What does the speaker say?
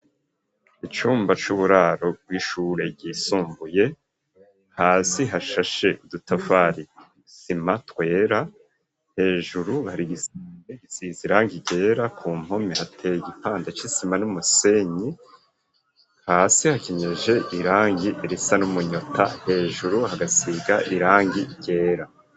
icumba c'uburaro bw'ishure ryisumbuye hasi hashashe utafari n,isima twera hejuru gisize irangi ryera ku mpome hateye igipande c'isima n'umusenyi hasi hakenyeje irangi risa n'umunyota hejuru hagasiga irangi ryera.